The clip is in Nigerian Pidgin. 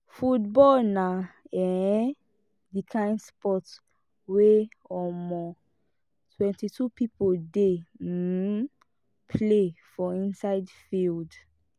football na um di kind sport wey um 22 people dey um play for inside field